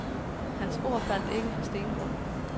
Hans ord faldt ikke på stengrund.